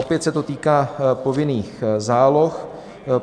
Opět se to týká povinných záloh.